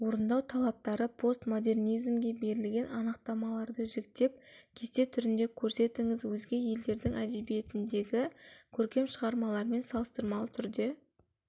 орындау талаптары постмодернизмге берілген анықтамаларды жіктеп кесте түрінде көрсетіңіз өзге елдердің әдебиетіндегі көркем шығармалармен салыстырмалы түрде